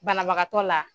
Banabagatɔ la